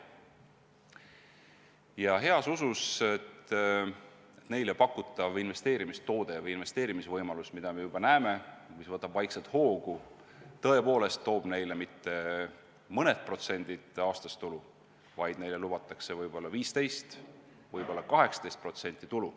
Nad teevad seda heas usus, et neile pakutav investeerimistoode või investeerimisvõimalus tõepoolest toob neile mitte mõne protsendi aastas tulu, vaid neile lubatakse võib-olla 15%, võib-olla 18% tulu.